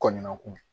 Kɔɲɔkun